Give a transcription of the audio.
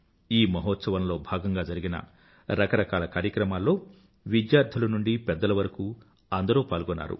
ఈ మహోత్సవం లో భాగంగా జరిగిన రకరకాల కార్యక్రమాల్లో విద్యార్థుల నుండీ పెద్దల వరకు అందరూ పాల్గొన్నారు